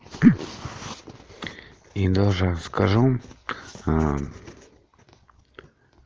и даже скажу